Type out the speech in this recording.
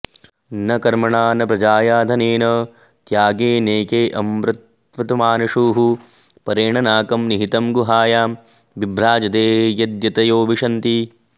न कर्मणा न प्र॒जया॒ धने॑न॒ त्यागे॑नैके अमृत॒त्वमा॑न॒शुः परे॑ण नाकं॒ निहि॑तं॒ गुहा॑यां वि॒भ्राज॑दे॒ यद्यत॑यो वि॒शन्ति॑